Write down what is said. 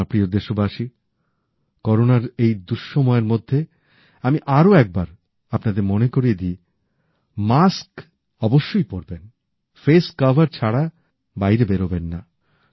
আমার প্রিয় দেশবাসী করোনার এই দুঃসময়ের মধ্যে আমি আরো একবার আপনাদের মনে করিয়ে দি মাস্ক অবশ্যই পরবেন ফেস কভার ছাড়া বাইরে বেরোবেন না